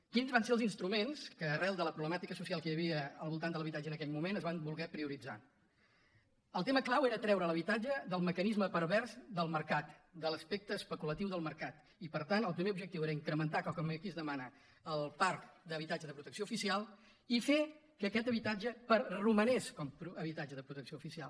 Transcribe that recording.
quins van ser els instruments que arran de la problemàtica social que hi havia al voltant de l’habitatge en aquell moment es van voler prioritzar el tema clau era treure l’habitatge del mecanisme pervers del mercat de l’aspecte especulatiu del mercat i per tant el primer objectiu era incrementar com aquí es demana el parc d’habitatge de protecció oficial i fer que aquest habitatge romangués com a habitatge de protecció oficial